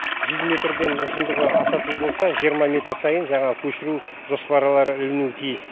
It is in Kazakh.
жүз метрден ұзындығы асатын болса жиырма метр сайын жаңағы көшіру жоспарлары ілінуі тиіс